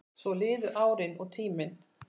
Svo liðu árin og tíminn.